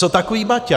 Co takový Baťa?